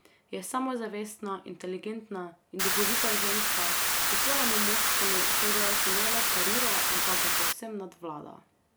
Je samozavestna, inteligentna in duhovita ženska, ki svojemu moškemu soigralcu ne le parira, ampak ga povsem nadvlada.